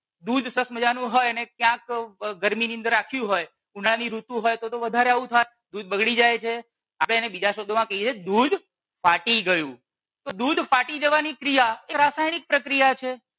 દૂધ સરસ મજાનું હોય અને ક્યાંક ગરમી ની અંદર રાખ્યું હોય ઉનાળાની ઋતુ હોય તો તો વધારે આવું થાય દૂધ બગડી જાય છે તો એને બીજા શબ્દો માં કહીએ દૂધ ફાટી ગયું તો દૂધ ફાટી જવાની ક્રિયા એ રાસાયણિક પ્રક્રિયા છે